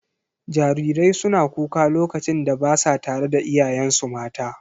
Jarirai suna kuka lokacin da ba sa tare da iyayensu mata.